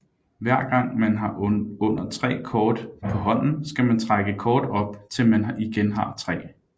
Hver gang man har under tre kort på hånden skal man trække kort op til man igen har tre